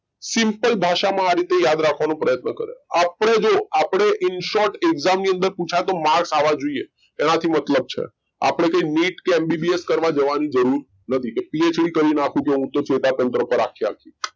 simple ભાષામાં આ રીતે યાદ રાખવાનો પ્રયત્ન કર્યો આપડે જો આપડે insert એક્ષમ ની અંદર પુછાય તો માર્ક આવા જોઈએ એના થી મતલબ છે અપડે કઈ NEET કે MBBS કરવા જવાની જરૂર નથી કે PhD કરી નાખવું છે હું તો ચેતાતંત્ર પર આખી આખી,